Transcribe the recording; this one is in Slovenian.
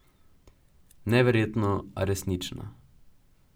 Neverjetno, a resnično.